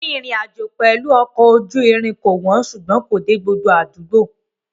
Rírìn ìrìnàjò pẹ̀lú ọkọ̀ ojú irin kò wọ́n ṣùgbọ́n kò dé gbogbo àdúgbò.